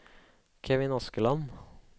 Kevin Askeland